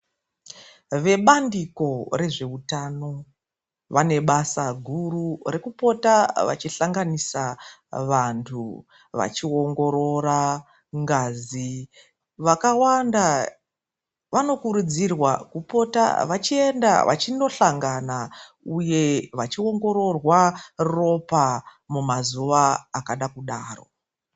Vebandiko rezvehutano vane basa guru rekupota vachihlanganisa vantu vachiongorora ngazi. Vakawanda vanokurudzirwa kupota vachienda vachindohlangana uye vachiongororwa ropa mumazuva akada kudaro.